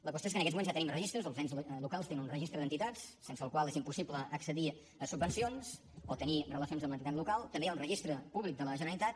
la qüestió és que en aquests moments ja tenim registres els ens locals tenen un registre d’entitats sense el qual és impossible accedir a subvencions o tenir relacions amb l’entitat local també hi ha un registre públic de la generalitat